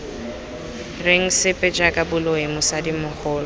reng sepe jaaka boloi mosadimogolo